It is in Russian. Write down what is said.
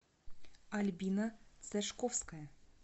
альбина сашковская